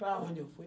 Para onde eu fui?